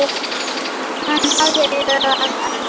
Hann hafði lög að mæla.